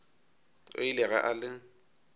o ile ge a le